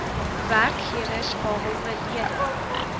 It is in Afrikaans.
werkgewers behalwe lede